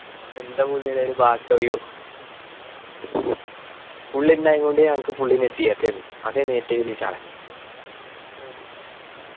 എന്ത പുള്ളിടെ പേർ യോ പുള്ളി ഇണ്ടായൊണ്ട് ഞങ്ങക്ക് full ആയിനു. അതെന്നെ ഏറ്റു വലിയ ചടങ്ങ്